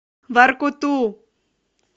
воркуту